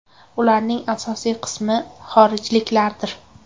Ularning asosiy qismi xorijliklardir.